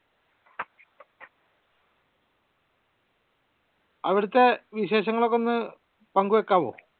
അവ്ടെതെ വിശേഷങ്ങൾ ഒക്കെ ഒന്ന് പങ്കുവെക്കാവോ